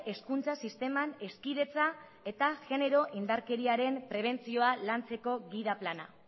hezkuntza sisteman hezkidetza eta genero indarkeriaren prebentzioa lantzeko gida plana